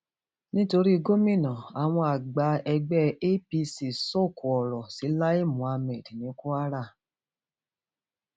nítorí gómìnà àwọn àgbà ẹgbẹ apc sọkò ọrọ sí lai muhammed ní kwara